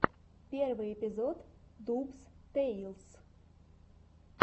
первый эпизод дубс тэйлс